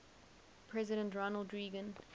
president ronald reagan